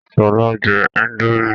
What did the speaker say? Sọlá jẹ índòmí